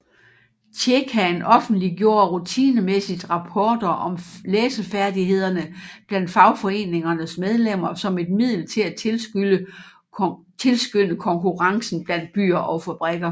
Tjekaen offentliggjorde rutinemæssigt rapporter om læsefærdighederne blandt fagforeningernes medlemmer som et middel til at tilskynde konkurrencen blandt byer og fabrikker